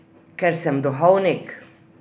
Ker sem duhovnik!